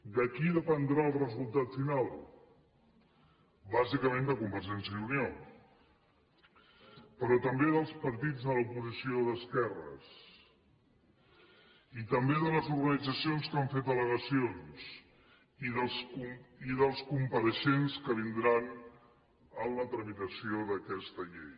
de qui dependrà el resultat final bàsicament de convergència i unió però també dels partits de l’oposició d’esquerres i també de les organitzacions que han fet al·legacions i dels compareixents que vindran en la tramitació d’aquesta llei